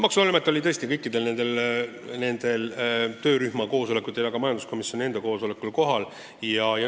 Maksuamet oli tõesti kõikidel töörühma koosolekutel ja ka majanduskomisjoni istungil esindatud.